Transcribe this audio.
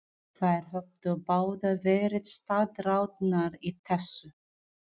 Þær höfðu báðar verið staðráðnar í þessu.